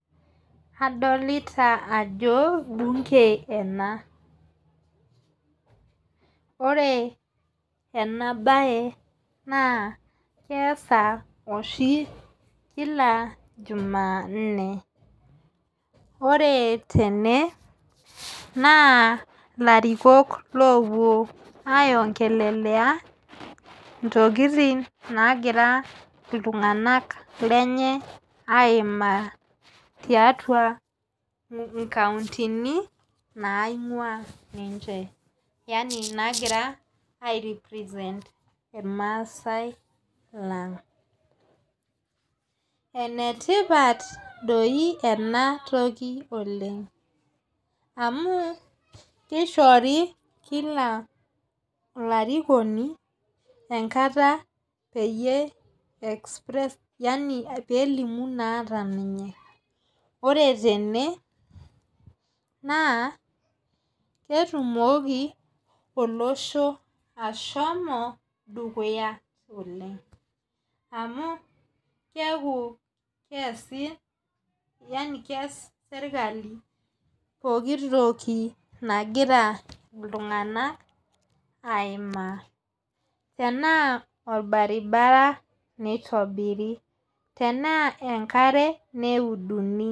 Adolita ajo bunge ena ore ena bae naa keasa oshi kila juma nne ore tene naa ilarikok lopuo aiongelelea intokitin nagira iltunganak lenye aimaa tiatua inkauntini naingua ninche yaani nagira ai represent ilmasaai lang enetipat doi ena toki oleng amu kishori kila olarikoni enkata peyie express yaani pee elimu naata ninye ore tene naa ketumoki olosho ashomo dukuya oleng amu keaku keasi yaani keas sirkali pooki toki nagira iltunganak aimaa tenaa orbaribara neitobiri tenaa enkare neuduni.